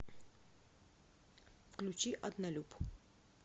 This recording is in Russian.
включи однолюб